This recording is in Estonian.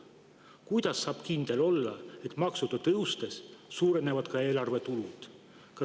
Kuidas saab kindel olla, et maksude tõustes suurenevad ka eelarve tulud?